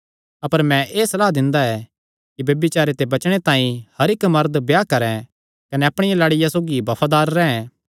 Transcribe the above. अपर मैं एह़ सलाह दिंदा ऐ कि ब्यभिचारे ते बचणे तांई हर इक्क मरद ब्याह करैं कने अपणिया लाड़िया सौगी बफादार रैंह्